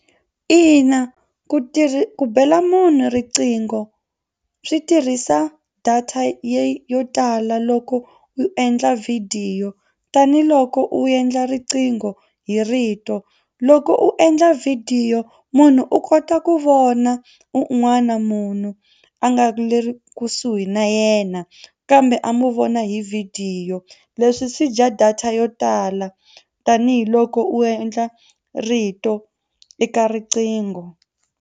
Ina ku tirhi ku bela munhu riqingho swi tirhisa data ye yo tala loko u endla vhidiyo tanihiloko u endla riqingho hi rito. Loko u endla vhidiyo munhu u kota ku vona un'wana munhu a nga le ri kusuhi na yena kambe a mu vona hi vhidiyo leswi swi dya data yo tala tanihiloko u endla rito eka riqingho.